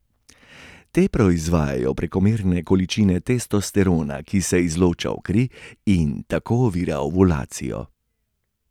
Te proizvajajo prekomerne količine testosterona, ki se izloča v kri in tako ovira ovulacijo.